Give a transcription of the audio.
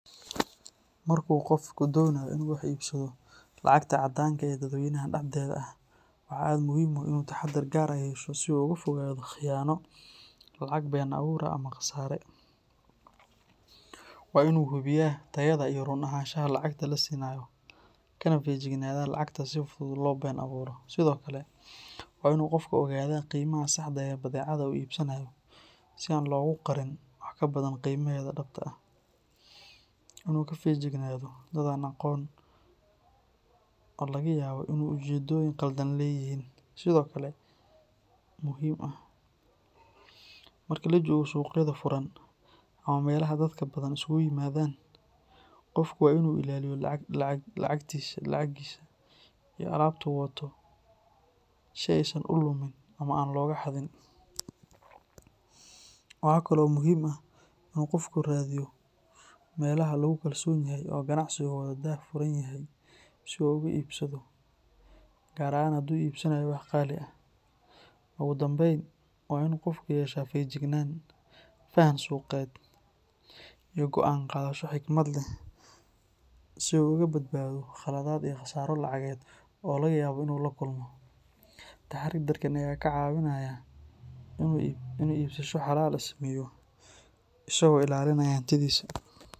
Marka qofku doonayo inuu wax ku iibsado lacagta caddaanka ah ee dadweynaha dhexdeeda ah, waxaa aad muhiim u ah inuu taxadar gaar ah yeesho si uu uga fogaado khiyaano, lacag been abuur ah ama khasaare. Waa in uu hubiyaa tayada iyo run ahaanshaha lacagta la siinayo, kana feejignaadaa lacagta si fudud loo been abuuro. Sidoo kale, waa in qofku ogaadaa qiimaha saxda ah ee badeecada uu iibsanayo si aan loogu qarin wax ka badan qiimaheeda dhabta ah. Inuu ka feejignaado dad aan la aqoon oo laga yaabo inay ujeedooyin khaldan leeyihiin, sidoo kale muhiim ah. Marka la joogo suuqyada furan ama meelaha dadka badan isugu yimaadaan, qofku waa in uu ilaalinayo lacagiisa iyo alaabta uu wato si aysan u lumin ama aan looga xadin. Waxa kale oo muhiim ah in uu qofku raadiyo meelaha lagu kalsoon yahay oo ganacsigooda daahfuran yahay si uu uga iibsado, gaar ahaan haddii uu iibsanayo wax qaali ah. Ugu dambeyn, waa in qofku yeeshaa feejignaan, faham suuqeed, iyo go’aan qaadasho xikmad leh si uu uga badbaado khaladaad iyo khasaaro lacageed oo laga yaabo inuu la kulmo. Taxadarkan ayaa ka caawinaya inuu iibsasho xalaal ah sameeyo, isagoo ilaalinaya hantidiisa.